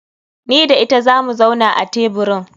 Ni da ita zamu zauna a teburin.